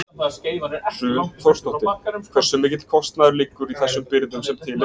Hrun Þórsdóttir: Hversu mikill kostnaður liggur í þessum birgðum sem til eru?